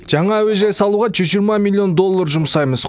жаңа әуежай салуға жүз жиырма миллион доллар жұмсаймыз